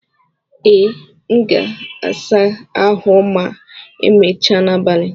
Ee, m ga-asa ahụ ma emechaa n'abalị.